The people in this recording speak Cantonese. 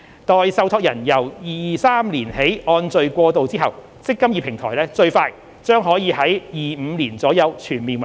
待受託人由2023年起按序過渡後，"積金易"平台最快將可於2025年左右全面運作。